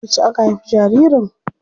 Yauce aka haifi jaririn?